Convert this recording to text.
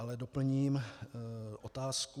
Ale doplním otázku.